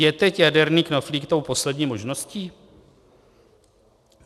Je teď jaderný knoflík tou poslední možností?"